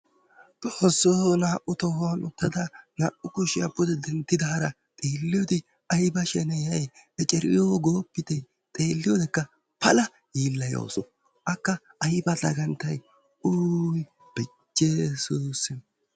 xoosoo naau tohuwan utidaara, naa"u kushiya pude dentidaara yiilote ay ba shenetay ecceriyo gooppa. xeeliyodekka pala dagantawusu. xoosoo eceriyo goopite . beyessussim.